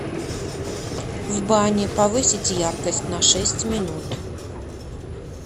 в бане повысить яркость на шесть минут